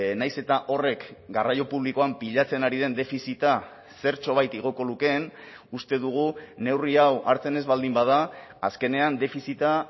nahiz eta horrek garraio publikoan pilatzen ari den defizita zertxobait igoko lukeen uste dugu neurri hau hartzen ez baldin bada azkenean defizita